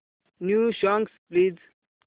new songs please